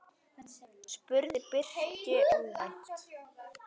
spurði Birkir óvænt.